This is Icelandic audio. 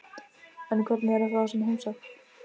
En hvernig er að fá svona heimsókn?